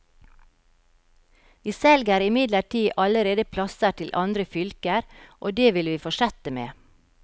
Vi selger imidlertid allerede plasser til andre fylker, og det vil vi fortsette med.